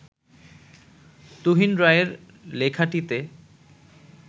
তুহিন রায়ের লেখাটিতে